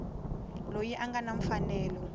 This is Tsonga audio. loyi a nga na mfanelo